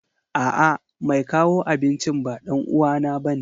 A'a, mai kawo abincin ba ɗan uwana bane.